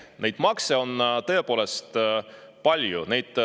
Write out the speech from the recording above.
Neid makse on tõepoolest palju.